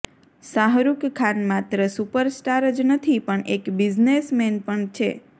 શાહરૂખ ખાન માત્ર સુપરસ્ટાર જ નથી પણ એક બિઝનેસમેન પણ છે